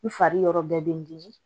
N fari yɔrɔ bɛɛ bɛ n dimi